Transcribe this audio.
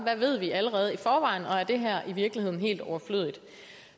hvad ved vi allerede i forvejen og er det her i virkeligheden helt overflødigt